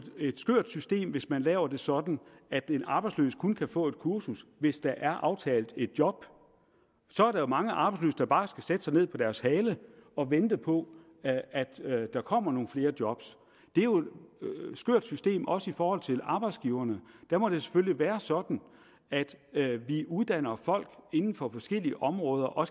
et skørt system hvis man laver det sådan at en arbejdsløs kun kan få et kursus hvis der er aftalt et job så er der jo mange arbejdsløse der bare skal sætte sig ned på deres hale og vente på at at der kommer nogle flere job det er jo et skørt system også i forhold til arbejdsgiverne der må det selvfølgelig være sådan at vi uddanner folk inden for forskellige områder og